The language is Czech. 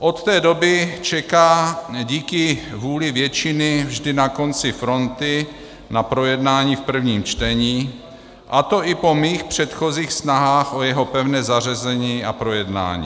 Od té doby čeká díky vůli většiny vždy na konci fronty na projednání v prvním čtení, a to i po mých předchozích snahách o jeho pevné zařazení a projednání.